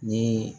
Ni